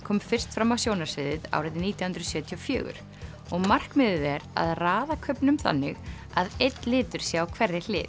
kom fyrst fram á sjónarsviðið árið nítján hundruð sjötíu og fjögur og markmiðið er að raða kubbnum þannig að einn litur sé á hverri hlið